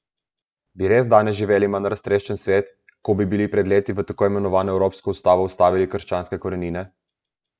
Bi res danes živeli manj raztreščen svet, ko bi bili pred leti v tako imenovano evropsko ustavo vstavili krščanske korenine?